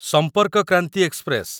ସମ୍ପର୍କ କ୍ରାନ୍ତି ଏକ୍ସପ୍ରେସ